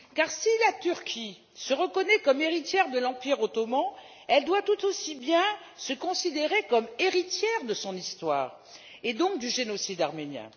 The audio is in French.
Si la Turquie se reconnaît comme héritière de l'Empire ottoman, elle doit tout autant se considérer comme héritière de son histoire et donc du génocide arménien.